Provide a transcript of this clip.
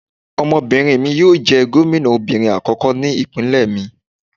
Ọmọbinrin mi yoo jẹ gomina obinrin akọkọ ni ipinlẹ mi